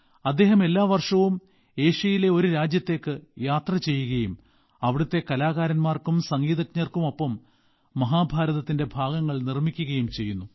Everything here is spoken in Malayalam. അദ്ദേഹം എല്ലാ വർഷവും ഏഷ്യയിലെ ഒരു രാജ്യത്തേക്ക് യാത്ര ചെയ്യുകയും അവിടത്തെ കലാകാരന്മാർക്കും സംഗീതജ്ഞർക്കും ഒപ്പം മഹാഭാരതത്തിന്റെ ഭാഗങ്ങൾ അവതരിപ്പിക്കുകയും ചെയ്യുന്നു